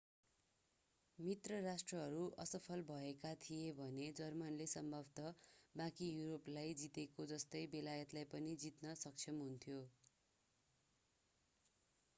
मित्र राष्ट्रहरू असफल भएका थिए भने जर्मनीले सम्भवतः बाँकी युरोपलाई जीतेको जस्तै बेलायतलाई पनि जीत्न सक्षम हुन्थ्यो